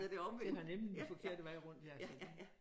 Den er nemlig den forkerte vej rundt ja